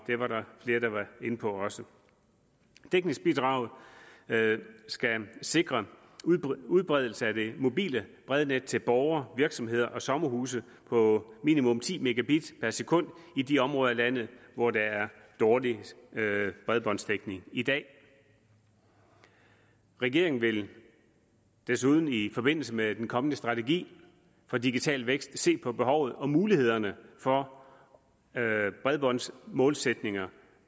var der flere der var inde på også dækningsbidraget skal sikre udbredelse af det mobile brednet til borgere virksomheder og sommerhuse på minimum ti mbit per sekund i de områder af landet hvor der er dårlig bredbåndsdækning i dag regeringen vil desuden i forbindelse med den kommende strategi for digital vækst også se på behovet og mulighederne for bredbåndsmålsætninger